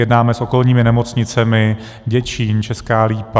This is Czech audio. Jednáme s okolními nemocnicemi - Děčín, Česká Lípa.